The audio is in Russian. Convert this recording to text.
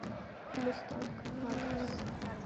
мустанг адрес